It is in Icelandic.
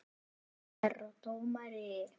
Herra dómari!